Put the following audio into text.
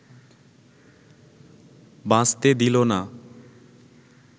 বাঁচতে দিলো না